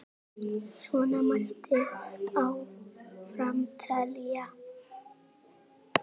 Svona mætti áfram telja.